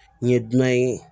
N ye dunan ye